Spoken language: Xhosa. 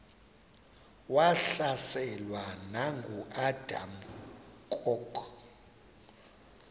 wahlaselwa nanguadam kok